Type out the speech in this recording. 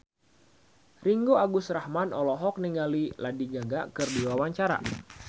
Ringgo Agus Rahman olohok ningali Lady Gaga keur diwawancara